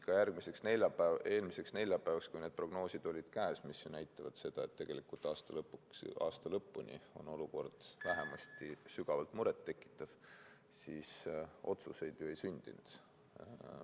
Ka eelmisel neljapäeval, kui need prognoosid olid käes – mis näitavad seda, et tegelikult aasta lõpuni on olukord vähemasti sügavalt murettekitav –, otsuseid ju ei sündinud.